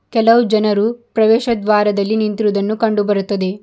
ಕೆಲವು ಜನರು ಪ್ರವೇಶ ದ್ವಾರದಲ್ಲಿ ನಿಂತಿರುವುದನ್ನು ಕಂಡುಬರುತ್ತಿದೆ.